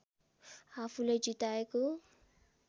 आफूलाई जिताएको